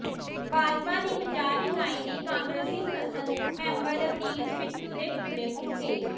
ਭਾਜਪਾ ਦੀ ਪੰਜਾਬ ਇਕਾਈ ਨੇ ਕਾਂਗਰਸੀ ਸੰਸਦ ਮੈਂਬਰ ਰਵਨੀਤ ਬਿੱਟੂ ਦੇ ਪੁਤਲੇ ਫੂਕੇ